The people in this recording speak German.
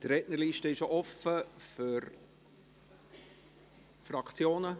Die Rednerliste ist offen für die Fraktionen.